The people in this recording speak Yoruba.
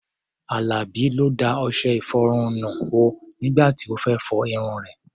Àlàbí ló da ọṣẹ-ìfọrun nù o nígbà tí ó fẹ́ fọ irun rẹ̀.